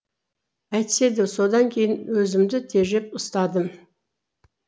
әйтсе де содан кейін өзімді тежеп ұстадым